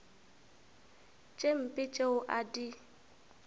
tše mpe tšeo a di